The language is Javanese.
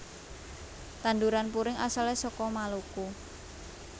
Tanduran puring asale saka Maluku